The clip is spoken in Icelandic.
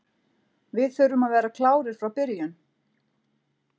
Við þurfum að vera klárir frá byrjun.